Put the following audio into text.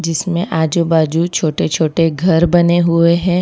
इमसें आजू बाजू छोटे छोटे घर बने हुए हैं।